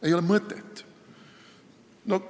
Ei ole mõtet!